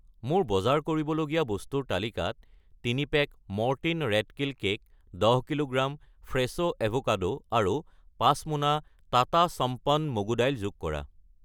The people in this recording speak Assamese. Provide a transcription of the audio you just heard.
মোৰ বজাৰ কৰিবলগীয়া বস্তুৰ তালিকাত 3 pack Mortein rat kill cake , 10 kilogram Fresho avocado আৰু 5 মোনা টাটা সম্পন মগু দাইল যোগ কৰা।